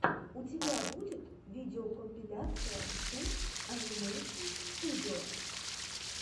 у тебя будет видеокомпиляция шут анимэйшн студио